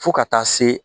Fo ka taa se